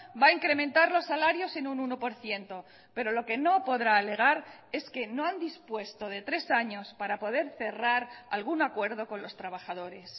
va a incrementar los salarios en un uno por ciento pero lo que no podrá alegar es que no han dispuesto de tres años para poder cerrar algún acuerdo con los trabajadores